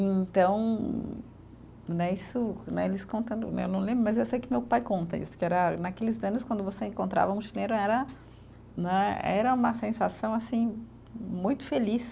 E então né, isso, né eles contando né, eu não lembro, mas eu sei que meu pai conta isso, que era naqueles anos, quando você encontrava um chileno, era era né, era uma sensação, assim, muito feliz.